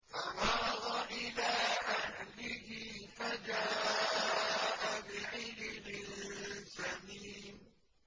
فَرَاغَ إِلَىٰ أَهْلِهِ فَجَاءَ بِعِجْلٍ سَمِينٍ